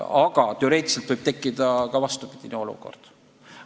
Aga teoreetiliselt võib tekkida ka vastupidine olukord.